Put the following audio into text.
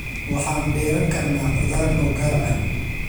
Waxaan beeran karnaa khudaar noo gaar ah.